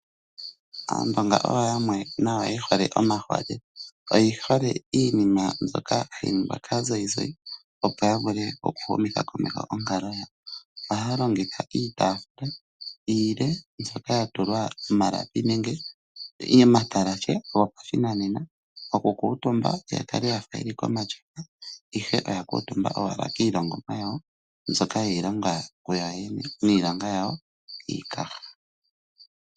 Aandonga oyo yamwe ye hole omaholela. Oye hole iinima yimwe mbyoka hayi ningwa kaazayizayi, opo ya vule okuhumitha komeho onkalo yawo. Ohaya longitha iitaafula iile mbyoka ya tulwa iilapi nenge omatalashe gopashinanena okukuutumba ya kale ya fa ye li komatyofa, ihe oya kuutumba owala kiilongomwa yawo, mbyoka ye yi longa kuyoyene niilonga yawo yiikaha.